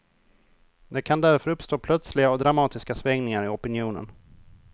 Det kan därför uppstå plötsliga och dramatiska svängningar i opinionen.